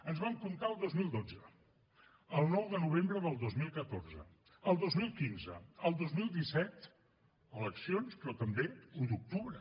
ens vam comptar el dos mil dotze el nou de novembre del dos mil catorze el dos mil quinze el dos mil disset eleccions però també un d’octubre